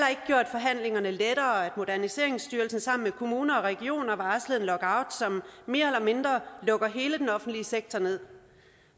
forhandlingerne lettere at moderniseringsstyrelsen sammen med kommuner og regioner varslede en lockout som mere eller mindre lukker hele den offentlige sektor ned